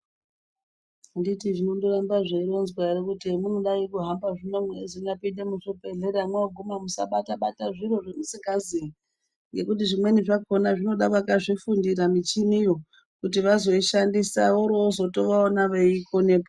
Handiti zvinondoramba zveironzwa ere kuti handiti hemunodai kuhamba zvino mweinyapinde muzvibhehlera mwoguma musabata-bata zvamusikazi zvimweni. Zvinoda vakazvifundira michiniyo. kuti vazoisha disa vorozotoona veikonepo.